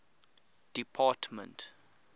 department